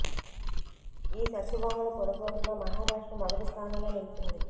ఈ సెక్స్ బొమ్మల కొనుగోలులో మహారాష్ట్ర మొదటి స్థానంలో నిలిచింది